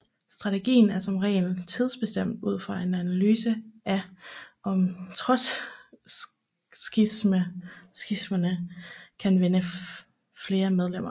Strategien er som regel tidsbestemt ud fra en analyse af om trotskisterne kan vinde flere medlemmer